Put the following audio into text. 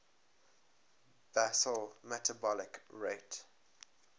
basal metabolic rate